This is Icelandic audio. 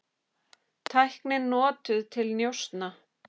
Tæknin notuð til njósna?